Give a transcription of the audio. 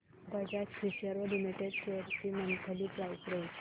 Bajaj Finserv limited shares ची monthly price range